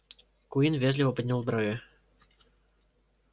куинн вежливо поднял брови